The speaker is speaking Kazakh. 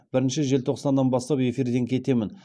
бірінші желтоқсаннан бастап эфирден кетемін